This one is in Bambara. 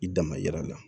I dama yira la